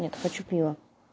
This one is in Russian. нет хочу пива